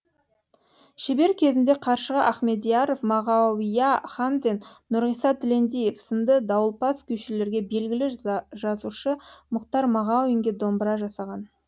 шебер кезінде қаршыға ахмедияров мағауия хамзин нұрғиса тілендиев сынды дауылпаз күйшілерге белгілі жазушы мұхтар мағауинге домбыра жасаған